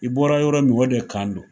I bɔra yɔrɔ min o de kan don.